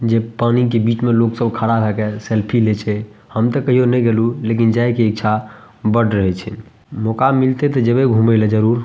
जे पानी के बीच में लोग सब खड़ा हो गएल सेल्फी लेइ छै हम त कहियो न गएलू लेकिन जाए की इक्छा बढ़ रहल छै मौका मिलते त जइबे घुमे ला जरूर --